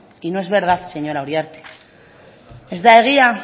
y no es verdad señora uriarte ez da egia